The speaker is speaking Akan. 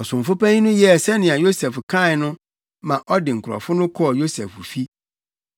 Ɔsomfo panyin no yɛɛ sɛnea Yosef kae no ma ɔde nkurɔfo no kɔɔ Yosef fi.